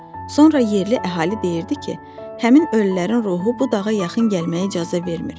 Sonra yerli əhali deyirdi ki, həmin ölülərin ruhu bu dağa yaxın gəlməyə icazə vermir.